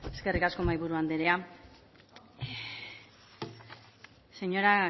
eskerrik asko mahaiburu andrea señora